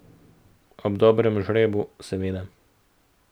Ob dobrem žrebu, seveda.